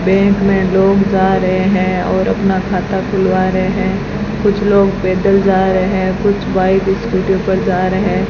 bank मे लोग जा रहे है और अपना खाता खुलवा रहे है कुछ लोग पैदल जा रहे हैं कुछ बाइक स्कूटियो पर जा रहे--